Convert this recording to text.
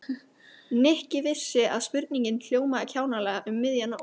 Nikki vissi að spurningin hljómaði kjánalega um miðja nótt.